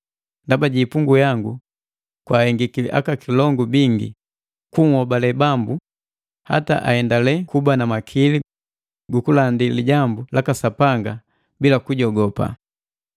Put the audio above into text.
Ndaba ji ipungu yangu kwaahengiki aka kilongu bingi kunhobale Bambu hata ahendale kuba na makili gukulandi lijambu laka Sapanga bila kujogopa.